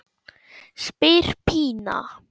spyr Pína.